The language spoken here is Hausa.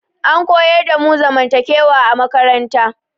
An koyar damu zamantakewa a makaranta